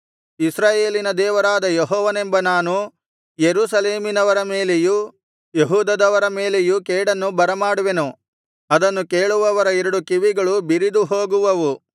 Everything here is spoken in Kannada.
ಇಸ್ರಾಯೇಲಿನ ದೇವರಾದ ಯೆಹೋವನೆಂಬ ನಾನು ಯೆರೂಸಲೇಮಿನವರ ಮೇಲೆಯೂ ಯೆಹೂದದವರ ಮೇಲೆಯೂ ಕೇಡನ್ನು ಬರಮಾಡುವೆನು ಅದನ್ನು ಕೇಳುವವರ ಎರಡು ಕಿವಿಗಳು ಬಿರಿದು ಹೋಗುವವು